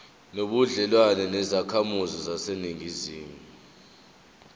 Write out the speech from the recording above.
nobudlelwane nezakhamizi zaseningizimu